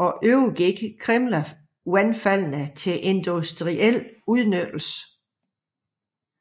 at overgive Krimmlervandfaldene til industriel udnyttelse